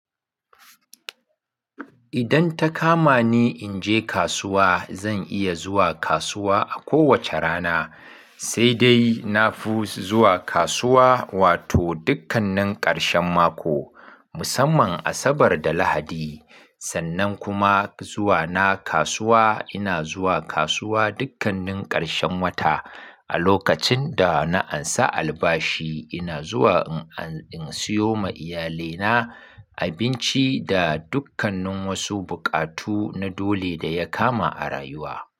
Idan ta kama ni in je kasuwa, zan iya zuwa kasuwa a kowacce rana, sai dai nafi zuwa kasuwa wato dukkanin ƙarshen mako musamman Asabar da Lahadi. Sannan kuma zuwa na kasuwa, ina zuwa kasuwa dukkanin ƙarshen wata a lokacin da na ansa albashi ina zuwa in siyo ma iyalina abinci da dukkanin wasu buƙatu na dole da ya kama a rayuwa.